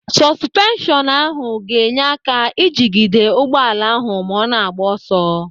Sọsụpenshọnụ ahụ ga-enye aka ijigide ụgbọala ahụ ma ọ na-agba ọsọ.